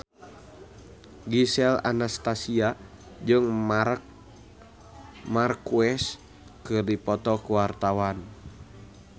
Gisel Anastasia jeung Marc Marquez keur dipoto ku wartawan